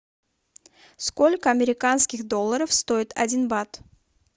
сколько американских долларов стоит один бат